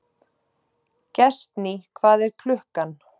Gestný, hvað er klukkan?